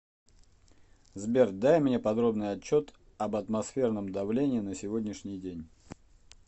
сбер дай мне подробный отчет об атмосферном давлении на сегодняшний день